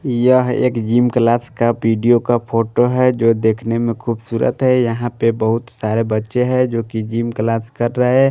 यह एक gym class का वीडियो का फोटो हैजो देखने में खूबसूरत है यहां पे बहुत सारे बच्चे हैं जो कि जिम क्लास कर रहे --